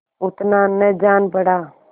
उतना न जान पड़ा